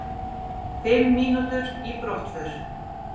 Fimm mínútur í brottför.